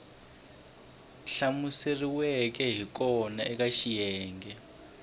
hlamuseriweke hi kona eka xiyenge